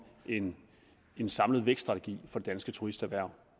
en en samlet vækststrategi for det danske turisterhverv